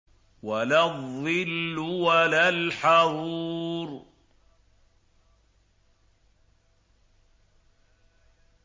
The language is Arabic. وَلَا الظِّلُّ وَلَا الْحَرُورُ